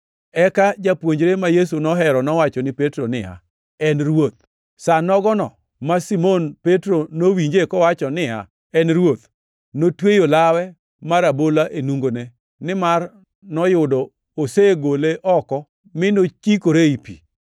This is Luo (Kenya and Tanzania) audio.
Eka japuonjre ma Yesu nohero nowacho ni Petro niya, “En Ruoth!” Sa nogono ma Simon Petro nowinje kowacho niya, “En Ruoth,” notweyo lawe mar abola e nungone, nimar noyudo osegole oko mi nochikore ei pi.